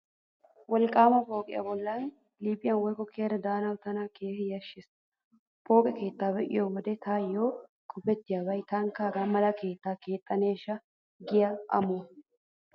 Wolqqaama pooqiyaayyo bollaa liiphiyan woykko kiyada daanawu tana keehi yashshees. Pooqe keetta be'iyo wode taayyo qopettiyabay 'taanikka hagaa mala keettaa keexxaneeshsha' giyaa amuwaa.